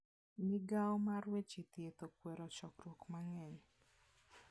Migawo mar weche thieth okwero chokruok mang'eny.